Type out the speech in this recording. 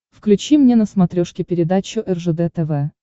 включи мне на смотрешке передачу ржд тв